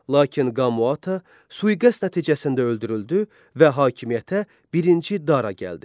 Lakin Qamaata sui-qəsd nəticəsində öldürüldü və hakimiyyətə birinci Dara gəldi.